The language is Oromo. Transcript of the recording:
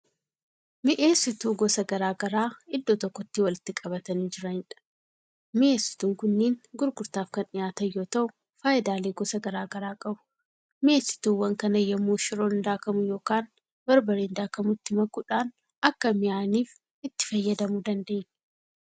Mi'eessituu gosa garagaraa iddoo tokkotti walitti qabatanii jiraniidha. Mi'eessituun kunniin gurgurtaaf Kan dhiyaatan yoo ta'u faayidaalee gosa garagaraa qabu. mi'eessituuwwan kana yemmoo shiroon daakkamu yookaan barbareen daakkamu itti makuudhaan Akka mi'aaniif itti fayyadamu dandeenya.